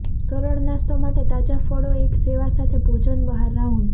સરળ નાસ્તો માટે તાજા ફળો એક સેવા સાથે ભોજન બહાર રાઉન્ડ